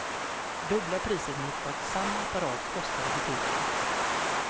Dubbla priset mot vad samma apparat kostar i butiken.